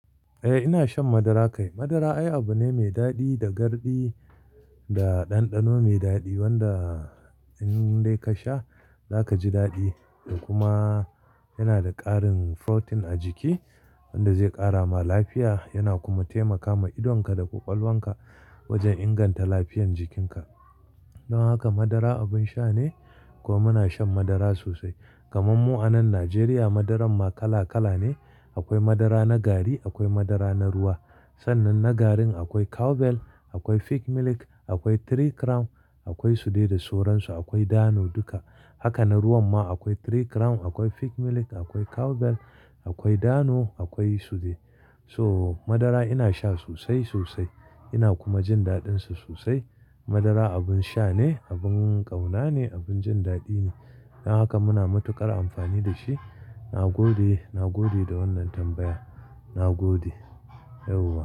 Eh, ina shan madara kai. Madara ai abu ne mai daɗi da garɗi da ɗanɗano mai daɗi wanda in dai ka sha, za ka ji daɗi. Kuma yana da ƙarin protein a jiki wanda zai ƙara ma lafiya, yana kuma taimakawa idonka da ƙwaƙwalwanka wajen inganta lafiyan jikinka. Don haka madara abin sha ne, kuma muna shan madara sosai. Kaman mu a nan Najeriya, madaran ma kala-kala ne. Akwai madara na gari, akwai madara na ruwa. Sannan na garin akwai Cowbell, akwai Peak Milk, akwai Three Crown, akwai su dai da sauransu, akwai Dano duka. Haka na ruwan ma akwai Three Crown, akwai Peak Milk, akwai Cowbell, akwai Dano, akwai su dai. So madara ina sha sosai, sosai. Ina kuma jin daɗin sa sosai. Madara abin sha ne, abin ƙauna ne, abin jin daɗi ne. Don haka muna matuƙar amfani da shi. Na gode, na gode da wannan tambaya. Na gode yauwa.